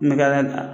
Nɛgɛ